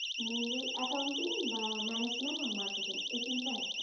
Mainly accounting বা management or marketing এই তিনটের একটা?